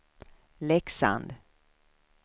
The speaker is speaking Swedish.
Leksand